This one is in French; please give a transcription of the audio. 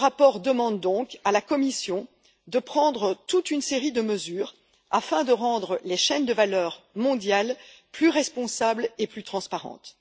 Il demande donc à la Commission de prendre toute une série de mesures afin de rendre les chaînes de valeur mondiale plus responsables et plus transparentes.